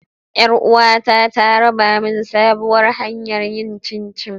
Yar uwata ta raba min sabuwar hanyar yin chinchi.